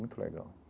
Muito legal.